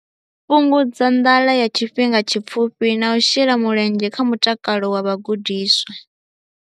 Fhungudza nḓala ya tshifhinga tshipfufhi na u shela mulenzhe kha mutakalo wa vhagudiswa.